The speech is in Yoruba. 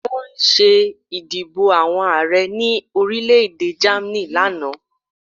Wọ́n ṣé ìdìbò àwọn Ààrẹ ní orílẹ̀-èdè Germany lánàá